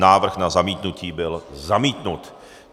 Návrh na zamítnutí byl zamítnut.